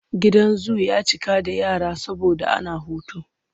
Gidan zu ya cika da yara saboda ana hutu.